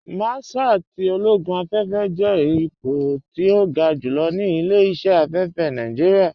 Márṣál tí ológún afẹ́fẹ́ jẹ́ ìpọ̀ tí o gá júlọ̀ ní ilẹ̀-iṣẹ̀ afẹ́fẹ́ Nàìjíríà.